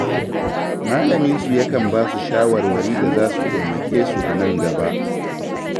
Malaminsu yakan ba su shawarwari da za su taimake su a nan gaba.